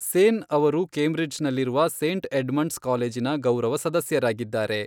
ಸೇನ್ ಅವರು ಕೇಂಬ್ರಿಡ್ಜ್ ನಲ್ಲಿರುವ Saint Edmund's ಕಾಲೇಜಿನ ಗೌರವ ಸದಸ್ಯರಾಗಿದ್ದಾರೆ.